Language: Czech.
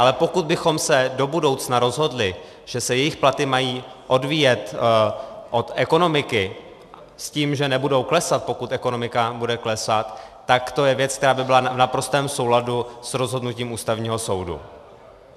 Ale pokud bychom se do budoucna rozhodli, že se jejich platy mají odvíjet od ekonomiky s tím, že nebudou klesat, pokud ekonomika bude klesat, tak to je věc, která by byla v naprostém souladu s rozhodnutím Ústavního soudu.